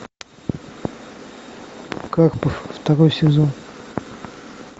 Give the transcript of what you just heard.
карпов второй сезон